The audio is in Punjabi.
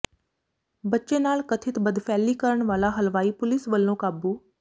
ਬੱਚੇ ਨਾਲ ਕਥਿਤ ਬਦਫ਼ੈਲੀ ਕਰਨ ਵਾਲਾ ਹਲਵਾਈ ਪੁਲਿਸ ਵਲੋਂ ਕਾਬੂ